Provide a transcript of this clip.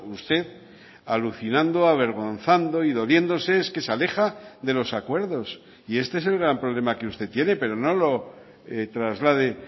usted alucinando avergonzando y doliéndose es que se aleja de los acuerdos y este es el gran problema que usted tiene pero no lo traslade